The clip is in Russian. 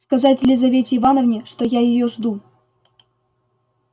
сказать лизавете ивановне что я её жду